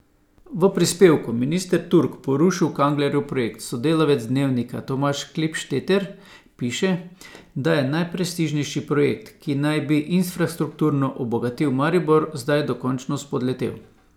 V prispevku Minister Turk porušil Kanglerjev projekt sodelavec Dnevnika Tomaž Klipšteter piše, da je najprestižnejši projekt, ki naj bi infrastrukturno obogatil Maribor, zdaj dokončno spodletel.